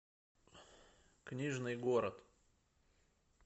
книжный город